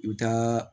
I bɛ taa